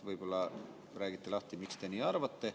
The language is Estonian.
Võib-olla räägite lahti, miks te nii arvate.